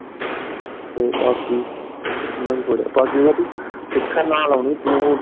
ਤੇ ਬਾਕੀ ਬਾਕੀ ਇਹ ਹੈ ਭੀ ਸਿੱਖਣ ਨਾਲ ਆਉਣੀ ਤੂੰ।